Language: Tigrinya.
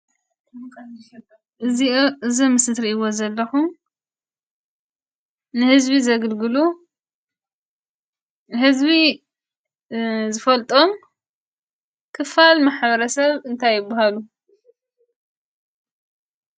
እዙይ ኣብ ምስሊ እትርእይዎ ዘለኩም ንህዝቢ ዘግልግሉ ህዝቢ ዝፈልጦ ምክፋል ማሕበረሰብ እንታይ ይብሃሉ?